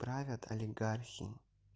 правят олигархи